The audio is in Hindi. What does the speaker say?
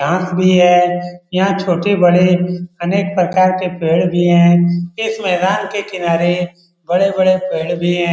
घास भी है यहाँ छोटे-बड़े अनेक प्रकार के पेड़ भी हैं इस मैदान के किनारे बड़े-बड़े पेड़ भी हैं।